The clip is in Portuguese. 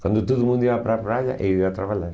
Quando todo mundo ia para a praia, eu ia trabalhar.